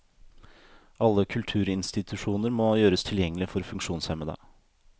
Alle kulturinstitusjoner må gjøres tilgjengelige for funksjonshemmede.